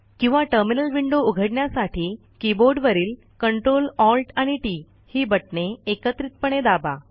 किंवा terminal window उघडण्यासाठी कीबोर्डवरील CTRL ALT आणि टीटी ही बटणे एकत्रितपणे दाबा